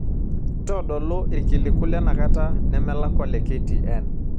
ntodolu irkiliku lenakata nemelakua le k.t.n